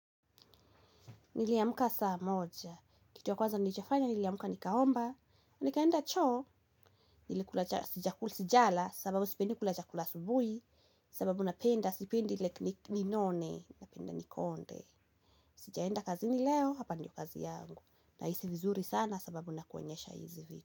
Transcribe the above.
Niliyamuka saa moja. Kitu ya kwaza nichojafanya niliyamuka nikaomba. Nikaenda cho. Nili kulajakula sijala sababu sipendi kulajakula asubuhi. Sababu napenda sipendi like ninone napenda nikonde. Sijaenda kazi ni leo hapa ndio kazi yangu. Na isi vizuri sana sababu nakuonyesha hizi vitu.